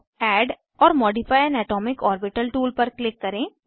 add or modify an atomic orbital tool पर click करें